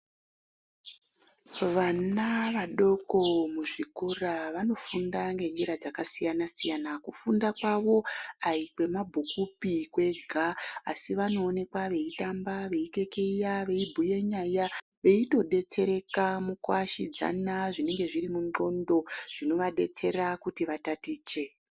Vana vadoko muzvikora vanofunda ngenjira dzakasiyana siyana kufundira kufunda kwawo hai kwemabhuku kwega asi vanoonekwa veitamba veikekeya veibhuya nyaya veidetsereka mukuashidzana zvinenge zviri mungondlo zvinova detsera kuti vatatiche.